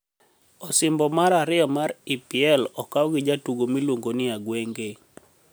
Osimbo mar ariyo mar EPL okaw gi jatugo miluonigo nii Agwenige.